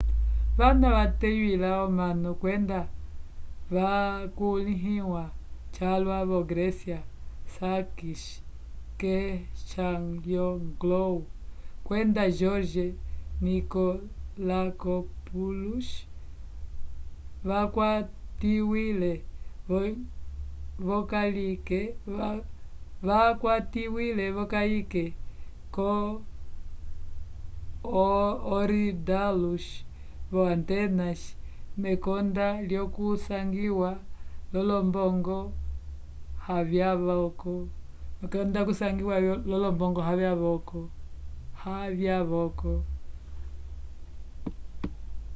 vana vateywila omanu kwenda vakulĩhiwa calwa vo grécia sakis kechagioglou kwenda george nikolakopoulos vakwatiwile v'okayike yo korydallus vo atenas mekonda lyokusangiwa l'olombongo havyavoko